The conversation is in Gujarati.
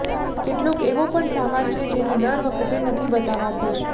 કેટલોક એવો પણ સામાન છે જેને દર વખતે નથી બતાવાતો